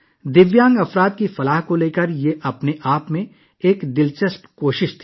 دیویانگوں کی فلاح و بہبود کے لیے یہ اپنے آپ میں ایک منفرد کوشش تھی